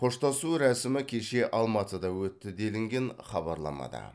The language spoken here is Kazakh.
қоштасу рәсімі кеше алматыда өтті делінген хабарламада